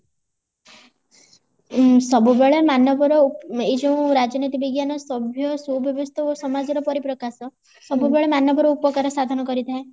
ଉଁ ସବୁବେଳେ ମାନବ ର ଏଇ ଯୋଉ ରାଜନୀତି ବିଜ୍ଞାନ ସଭ୍ଯ ସୁ ବ୍ୟବସ୍ତା ଓ ସମାଜର ପରିପ୍ରକାଶ ସବୁ ବେଳେ ମାନବ ର ଉପକାର ସାଧନ କରିଥାଏ